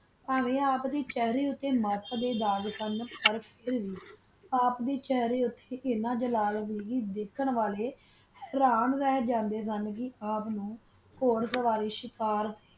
ਹਨ ਗੀ ਆਪ ਦਾ ਚਾਰਾ ਓਟਾ ਮਾਰਚ ਦਾ ਦਾਗ ਸਨ ਆਪ ਦਾ ਚਾਰਾ ਓਟਾ ਅਨਾ ਜਲਾਲ ਸੀ ਵਾਖਾਂ ਵਾਲਾ ਪਰ ਕੀਤਾ ਬਗੈਰ ਨਹੀ ਜਾਂਦਾ ਸਨ ਓਰ ਸਵਾਲੀ ਸ਼ਾਕਰ